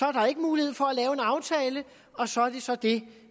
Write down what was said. er der ikke mulighed for at lave en aftale og så er det så det